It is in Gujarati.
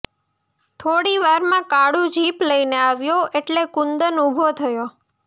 થોડી વારમાં કાળુ જીપ લઈને આવ્યો એટલે કુંદન ઊભો થયો